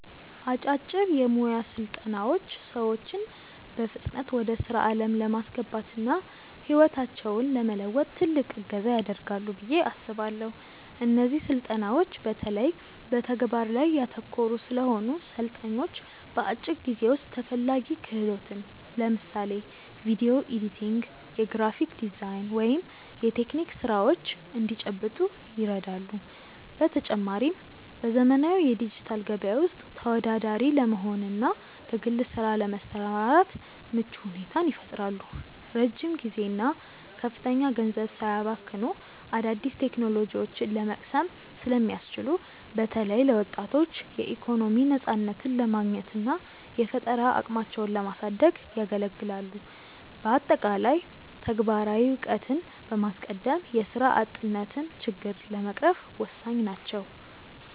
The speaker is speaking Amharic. አጫጭር የሞያ ስልጠናዎች ሰዎችን በፍጥነት ወደ ስራ ዓለም ለማስገባትና ህይወታቸውን ለመለወጥ ትልቅ እገዛ ያደርጋሉ ብዬ አስባለው። እነዚህ ስልጠናዎች በተለይ በተግባር ላይ ያተኮሩ ስለሆኑ፣ ሰልጣኞች በአጭር ጊዜ ውስጥ ተፈላጊ ክህሎትን (ለምሳሌ ቪዲዮ ኤዲቲንግ፣ የግራፊክ ዲዛይን ወይም የቴክኒክ ስራዎች) እንዲጨብጡ ይረዳሉ። በተጨማሪም፣ በዘመናዊው የዲጂታል ገበያ ውስጥ ተወዳዳሪ ለመሆንና በግል ስራ ለመሰማራት ምቹ ሁኔታን ይፈጥራሉ። ረጅም ጊዜና ከፍተኛ ገንዘብ ሳያባክኑ አዳዲስ ቴክኖሎጂዎችን ለመቅሰም ስለሚያስችሉ፣ በተለይ ለወጣቶች የኢኮኖሚ ነፃነትን ለማግኘትና የፈጠራ አቅማቸውን ለማሳደግ ያገለግላሉ። በአጠቃላይ፣ ተግባራዊ እውቀትን በማስቀደም የስራ አጥነትን ችግር ለመቅረፍ ወሳኝ ናቸው።